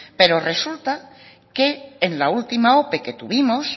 pero resulta que en la última ope que tuvimos